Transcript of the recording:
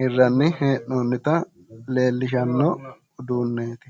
hirranni hee'noonnita leellishanno uduunneeti